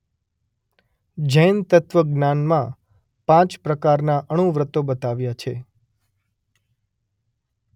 જૈન તત્વ જ્ઞાનમાં પાંચ પ્રકારના અણુવ્રતો બતાવ્યાં છે.